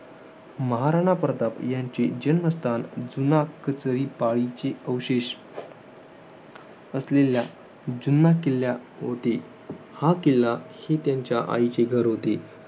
महाराणा प्रताप यांचे जन्मस्थान जुना कचरी पालीचे अवशेष असलेल्या, जुन्या किल्ला होते. हा किल्ला, ही त्यांच्या आईचे घर होते.